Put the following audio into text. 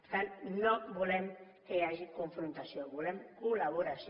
per tant no volem que hi hagi confrontació volem collaboració